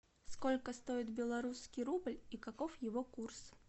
сколько стоит белорусский рубль и каков его курс